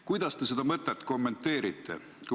" Kuidas te seda mõtet kommenteerite?